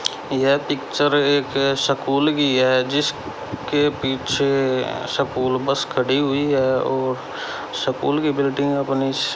यह पिक्चर एक स्कूल की है जिसके पीछे स्कूल बस खड़ी हुई है और स्कूल की बिल्डिंग अपनी--